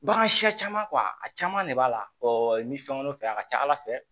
Bagan siya caman a caman de b'a la i bɛ fɛn wɛrɛw fɛ a ka ca ala fɛ